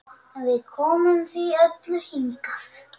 Við komum því öllu hingað.